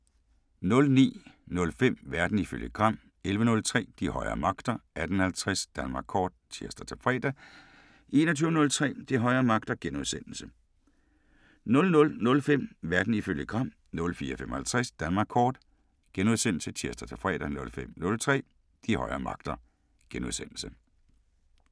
09:05: Verden ifølge Gram 11:03: De højere magter 18:50: Danmark Kort (tir-fre) 21:03: De højere magter * 00:05: Verden ifølge Gram * 04:55: Danmark Kort *(tir-fre) 05:03: De højere magter *